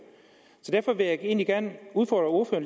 så derfor vil jeg egentlig gerne udfordre